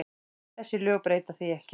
Þessi lög breyta því ekki.